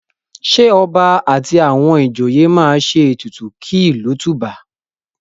Ọba àti àwọn àti àwọn ìjòye máa ètùtù kí ìlú tùbà?